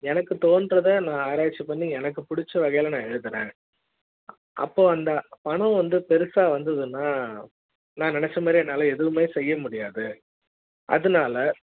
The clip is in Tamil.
எனக்கு தோன்றது ஆராய்ச்சி பண்ணி எனக்கு புடிச்ச வகையிழ எழுதுறஅப்போ அந்த பணம் வந்து பெருசா வந்ததுனா நான் நினைச்ச மாதிரி என்னால எதுவுமே செய்ய முடியாது அதுனால